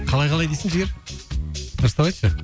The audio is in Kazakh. қалай қалай дейсің жігер дұрыстап айтшы